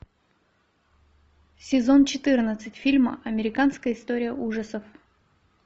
сезон четырнадцать фильм американская история ужасов